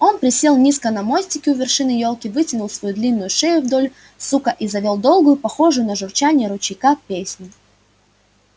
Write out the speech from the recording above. он присел низко на мостике у вершины ёлки вытянул свою длинную шею вдоль сука и завёл долгую похожую на журчание ручейка песню